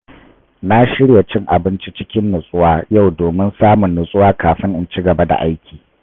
Na shirya cin abinci cikin nutsuwa yau domin samun natsuwa kafin in ci gaba da aiki.